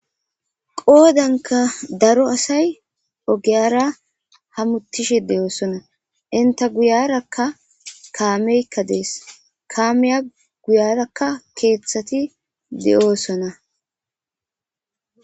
Qodanka daro asay ogara hamutishe dees. Enta guyaraka kaameyka dees ka miya guyaraka ogeti de'osona